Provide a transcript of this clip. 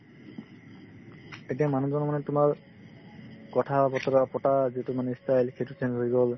এতিয়া মানুহজনক মানে তোমাৰ কথা-বতৰা পতা যিটো মানে ই style সেইটো change হৈ গ'ল